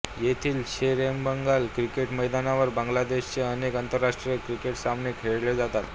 येथील शेरएबांगला क्रिकेट मैदानावर बांगलादेशचे अनेक आंतरराष्ट्रीय क्रिकेट सामने खेळले जातात